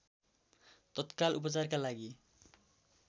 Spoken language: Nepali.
तत्काल उपचारका लागि